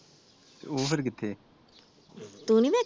ਤੇ ਉਹ ਫਿਰ ਕਿਥੇ ਏ?